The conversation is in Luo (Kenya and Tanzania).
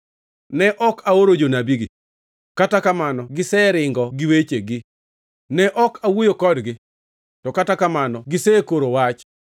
Ne ok aoro jonabigi, kata kamano giseringo gi wechegi; ne ok awuoyo kodgi, to kata kamano gisekoro wach.